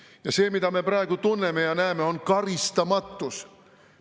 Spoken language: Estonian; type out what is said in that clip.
Ja see, mida me praegu tunneme ja näeme, on karistamatus.